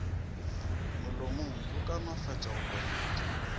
molomong go kaonefatša go kwametša